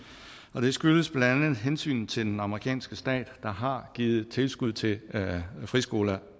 og det skyldes blandt andet hensynet til den amerikanske stat der har givet tilskud til friskoler